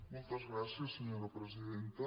moltes gràcies senyora presidenta